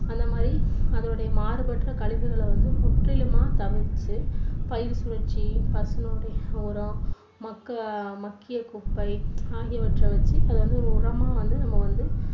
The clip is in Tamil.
அதே மாதிரி அதனுடைய மாறுபட்ட கழிவுகளை வந்து முற்றிலுமா தவிர்த்து பயிர் சுழற்சி மக்கு~மக்கிய குப்பை ஆகியவற்றை வைத்து அதை உரமா வந்து நம்ம வந்து